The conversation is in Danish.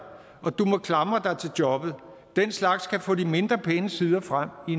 og du må klamre dig til jobbet den slags kan få de mindre pæne sider frem i